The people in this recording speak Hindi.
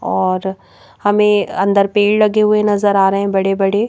और हमें अंदर पेड़ लगे हुए नजर आ रहे हैं बड़े बड़े--